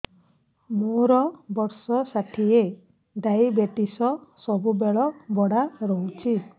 ମୋର ବର୍ଷ ଷାଠିଏ ଡାଏବେଟିସ ସବୁବେଳ ବଢ଼ା ରହୁଛି